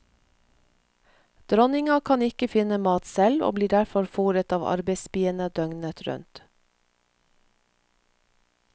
Dronninga kan ikke finne mat selv og blir derfor foret av arbeidsbiene døgnet rundt.